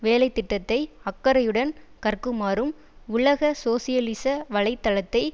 வேலை திட்டத்தை அக்கறையுடன் கற்குமாறும் உலக சோசியலிச வலை தளத்தை